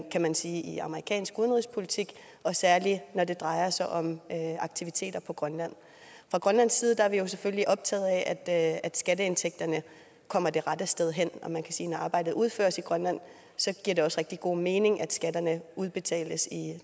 kan man sige i amerikansk udenrigspolitik og særlig når det drejer sig om aktiviteter på grønland fra grønlandsk side er vi jo selvfølgelig optaget af at at skatteindtægterne kommer det rette sted hen og man kan sige at når arbejdet udføres i grønland giver det også rigtig god mening at skatterne udbetales